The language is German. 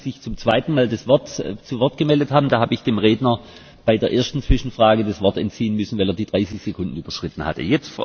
Als Sie sich das zweite Mal zu Wort gemeldet haben, habe ich dem Redner bei der ersten Zwischenfrage das Wort entziehen müssen, weil er die 30 Sekunden überschritten hatte.